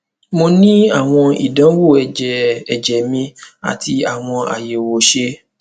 mo ni awọn idanwo ẹjẹ ẹjẹ mi ati awọn ayẹwo ṣe